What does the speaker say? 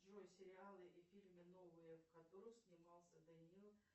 джой сериалы и фильмы новые в которых снимался даниил